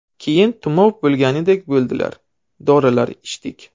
Keyin tumov bo‘lgandek bo‘ldilar, dorilar ichdik.